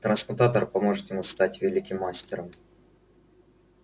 трансмутатор поможет ему стать великим мастером